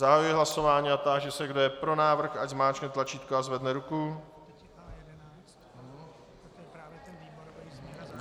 Zahajuji hlasování a táži se, kdo je pro návrh, ať zmáčkne tlačítko a zvedne ruku.